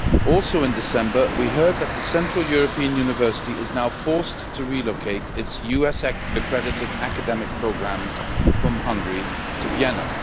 Also in December, we heard that the Central European University has now been forced to relocate its US accredited academic programmes from Hungary to Vienna.